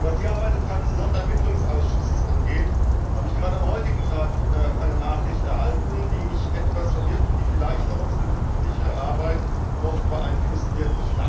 Was die Arbeit des TAXE Sonderermittlungsausschusses angeht, habe ich gerade am heutigen Tag eine Nachricht erhalten, die mich etwas verwirrt und die vielleicht auch unsere künftige Arbeit noch beeinflussen wird.